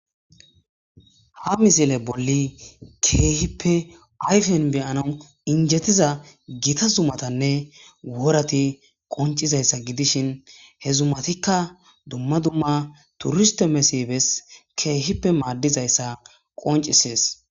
ha mizile bolli keehippe ayfen beyanau injettiza gita zumatanne worati qoncizayssa gidishin he zumatikka dumma dumma turiste mesibes keehippe maaddizayssa qoncisees